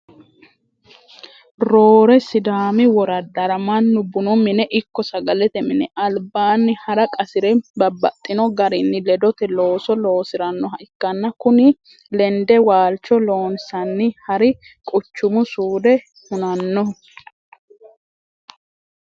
Roore sidaami woraddara mannu bunu mine ikko sagalete mini albaani hara qasire babbaxxino garinni ledote loosso loosiranoha ikkanna kuni lende waalcho loonsanni hari quchumu suude hunanoho.